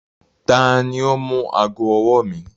Tani o mú agọ̀-ọwọ̀ mi?